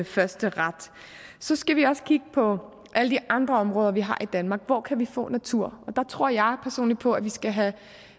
førsteret så skal vi også kigge på alle de andre områder vi har i danmark hvor kan vi få natur der tror jeg personligt på at vi skal have